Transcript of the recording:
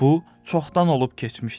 Bu çoxdan olub keçmişdi.